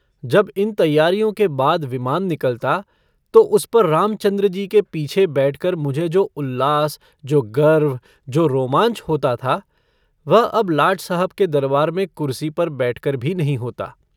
जब इन तैयारियों के बाद विमान निकलता तो उस पर रामचन्द्रजी के पीछे बैठकर मुझे जो उल्लास जो गर्व जो रोमांच होता था वह अब लाट साहब के दरबार में कुरसी पर बैठकर भी नहीं होता।